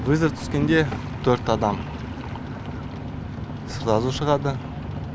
вызов түскенде төрт адам сразу шығады